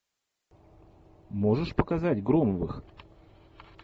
можешь показать громовых